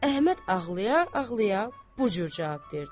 Əhməd ağlaya-ağlaya bu cür cavab verdi.